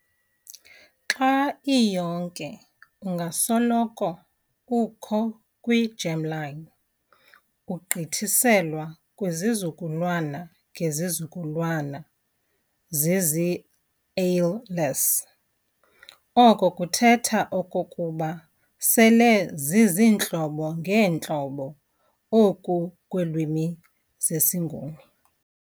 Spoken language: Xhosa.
xa iyonke ungasoloko ukho kwi-germline, ugqithiselwa kwizizukulwana ngezizukulwana zizii-alleles, oko kuthetha okokuba sele ziziintlobo ngeentlobo oku kweelwimi zesiNguni.